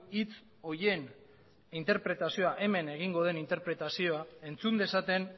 hitz horien interpretazioa hemen egingo den interpretazioa entzun dezaten